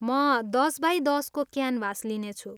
म दस बाई दसको क्यानभास लिनेछु।